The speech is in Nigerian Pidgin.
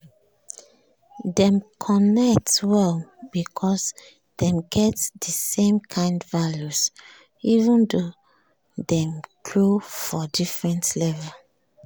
dem connect well because dem get the same kind values even though dem grow for different levels